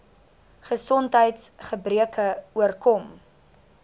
gesondheids gebreke oorkom